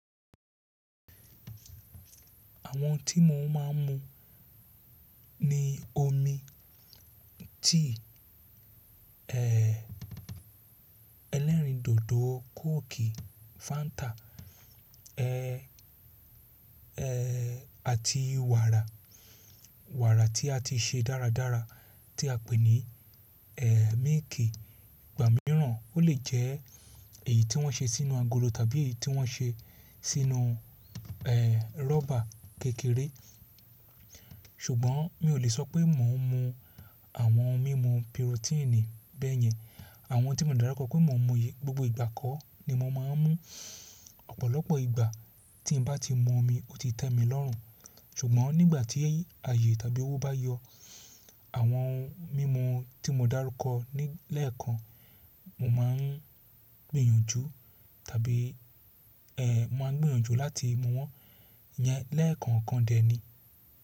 Àwọn tí mò ń má a mú ni omi, tea, ẹlẹ́rìndòdò, kóòkì, fáńtà àti wàrà. Wàrà tí a ti ṣe dáradára tí a pè ní mílìkì. Ìgbà mìíràn ó lè jẹ́ èyí tí wọ́n ṣe sínú agolo tàbí èyí tí wọ́n ṣe sínú rọ́bà kékeré. Ṣùgbọ́n mi ò lè sọ pé mò ń mu àwọn ohun mímu pirotíìnì bẹ́yẹn. Àwọn tí mò ń dárúkọ pé mò ń mu yii gbogbo ìgbà kọ́ ni mò má a ń mú. Ọ̀pọ̀lọpọ̀ ìgbà tí n bá ti mu omi ó ti tẹ́ mi lọ́rùn. Ṣùgbọ́n nígbà tí ayé tàbí owó bá yọ àwọn ohun mímu tí mò dárúkọ lẹ́ẹ̀kan, mò má a ń gbìyànjú tàbí mò má a ń gbìyànjú láti mu wọ́n yẹn lẹ́ẹ̀kan kan d ẹ ní.